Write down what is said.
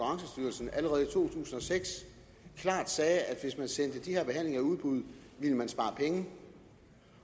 seks klart sagde at hvis man sendte de her behandlinger i udbud ville man spare penge